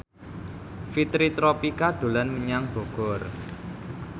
Fitri Tropika dolan menyang Bogor